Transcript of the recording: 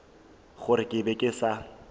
gore ke be ke sa